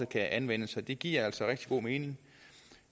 kan anvendes og det giver altså rigtig god mening